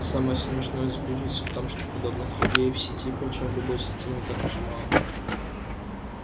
самое смешное заключается в том что подобных людей в сети причём в любой сети не так уж и мало